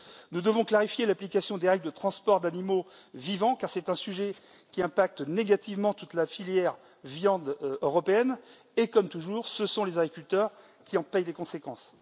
Nous devons clarifier l'application des règles de transport d'animaux vivants, car c'est un sujet qui a des répercussions négatives sur toute la filière viande européenne et, comme toujours, ce sont les agriculteurs qui en payent les conséquences.